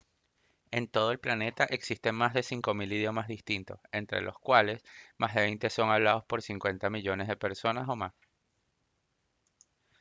en todo el planeta existen más de 5000 idiomas distintos entre los cuales más de veinte son hablados por 50 millones de personas o más